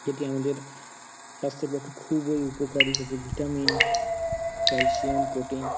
এটি আমাদের স্বাস্থ্যর পক্ষে খুবই উপকারী শুধু ভিটামিন ক্যালসিয়াম প্রোটিন |